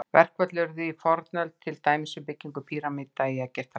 Verkföll urðu í fornöld, til dæmis við byggingu pýramída í Egyptalandi.